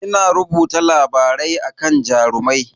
Ina rubuta labarai akan Jarumai.